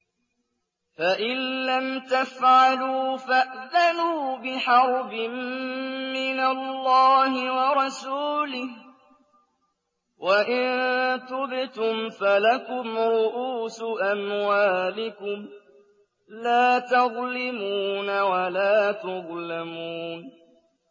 فَإِن لَّمْ تَفْعَلُوا فَأْذَنُوا بِحَرْبٍ مِّنَ اللَّهِ وَرَسُولِهِ ۖ وَإِن تُبْتُمْ فَلَكُمْ رُءُوسُ أَمْوَالِكُمْ لَا تَظْلِمُونَ وَلَا تُظْلَمُونَ